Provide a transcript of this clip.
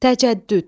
Təcəddüd.